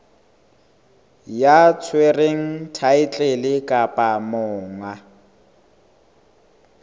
ya tshwereng thaetlele kapa monga